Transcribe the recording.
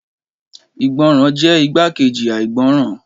Ìgbọràn jẹ́ igbákejì àìgbọràn